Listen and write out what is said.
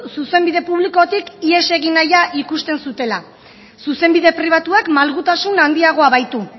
zuzenbide publikotik ihes egin nahia ikusten zutela zuzenbide pribatuak malgutasun handiagoa baitu